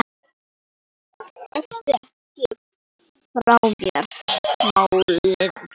Gekkstu ekki frá þeim málum?